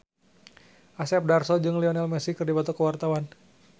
Asep Darso jeung Lionel Messi keur dipoto ku wartawan